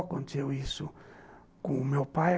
Aconteceu isso com o meu pai.